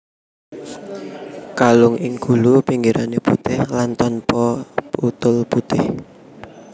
Kalung ing gulu pinggirané putih lan tanpa tutul putih